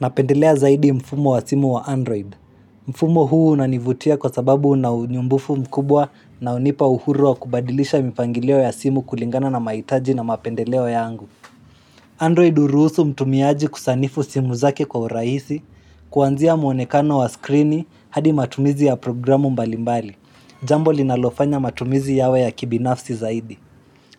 Napendelea zaidi mfumo wa simu wa Android. Mfumo huu unanivutia kwa sababu una nyumbufu mkubwa na unipa uhuru wa kubadilisha mipangilio ya simu kulingana na maitaji na mapendeleo yangu. Android uruusu mtumiaji kusanifu simu zake kwa uraisi, kuanzia mwonekano wa skrini hadi matumizi ya programu mbalimbali. Jambo linalofanya matumizi yawe ya kibinafsi zaidi.